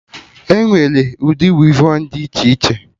Enwere ụdị wevọnụ dị iche iche